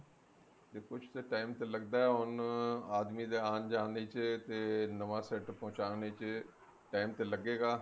ਤੇ ਕੁੱਝ ਤੇ time ਤੇ ਲੱਗਦਾ ਆਉਣ ਨੂੰ ਆਦਮੀ ਦੇ ਆਣ ਜਾਨ ਦੇ ਵਿੱਚ ਤੇ ਨਵਾਂ set ਪਹੁੰਚਾਨ ਦੇ ਵਿੱਚ time ਤੇ ਲੱਗੇਗਾ